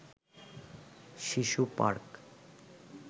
শিশু পার্ক